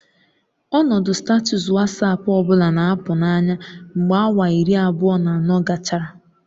Ọnọdụ sitatụs Wasapu ọ bụla na-apụ n'anya mgbe awa iri abụọ na anọ gachara